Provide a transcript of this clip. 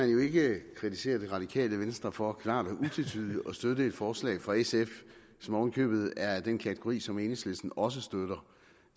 jo ikke kritisere det radikale venstre for klart og utvetydigt at støtte et forslag fra sf som oven i købet er i den kategori som enhedslisten også støtter